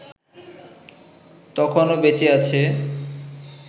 তখনো বেঁচে আছে